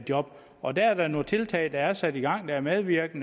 job og der er nogle tiltag der er sat i gang der medvirker